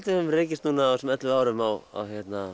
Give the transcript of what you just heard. við höfum rekist núna á þessum ellefu árum á